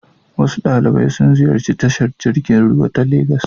Wasu ɗalibai sun ziyarci tashar jirgin ruwa ta Legas.